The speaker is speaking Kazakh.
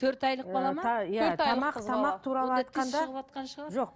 төрт айлық бала ма